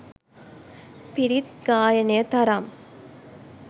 පිරිත් ගායනය තරම්